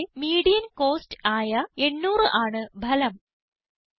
കോളത്തിലെ median cost ആയ 800 ആണ് ഫലം